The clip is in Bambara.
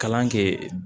Kalan kɛ